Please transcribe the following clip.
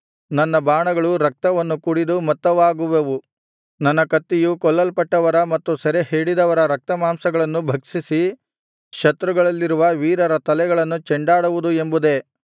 ನನ್ನ ಬಾಣಗಳು ರಕ್ತವನ್ನು ಕುಡಿದು ಮತ್ತವಾಗುವವು ನನ್ನ ಕತ್ತಿಯು ಕೊಲ್ಲಲ್ಪಟ್ಟವರ ಮತ್ತು ಸೆರೆಹಿಡಿದವರ ರಕ್ತಮಾಂಸಗಳನ್ನು ಭಕ್ಷಿಸಿ ಶತ್ರುಗಳಲ್ಲಿರುವ ವೀರರ ತಲೆಗಳನ್ನು ಚೆಂಡಾಡುವುದು ಎಂಬುದೇ